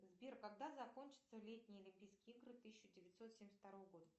сбер когда закончатся летние олимпийские игры тысяча девятьсот семьдесят второго года